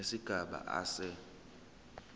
nesigaba a se